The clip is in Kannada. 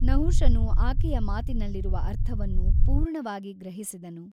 ನಹುಷನು ಆಕೆಯ ಮಾತಿನಲ್ಲಿರುವ ಅರ್ಥವನ್ನು ಪೂರ್ಣವಾಗಿ ಗ್ರಹಿಸಿದನು.